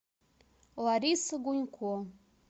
лариса гунько